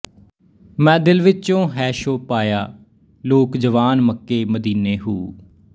ਮੈਂ ਦਿਲ ਵਿਚੋਂ ਹੈ ਸ਼ੌਹ ਪਾਇਆ ਲੋਕ ਜਵਾਨ ਮੱਕੇ ਮਦੀਨੇ ਹੂ